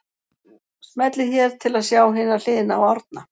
Smellið hér til að sjá hina hliðina á Árna